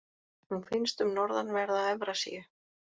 Hún finnst um norðanverða Evrasíu.